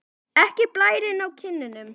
Ekki blærinn á kinnunum.